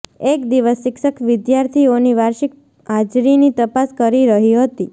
એક દિવસ શિક્ષક વિદ્યાર્થીઓની વાર્ષિક હાજરીની તપાસ કરી રહી હતી